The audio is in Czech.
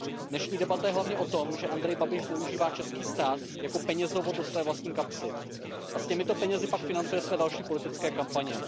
Dnešní debata je hlavně o tom, že Andrej Babiš zneužívá český stát jako penězovod do své vlastní kapsy a s těmito penězi pak financuje své další politické kampaně.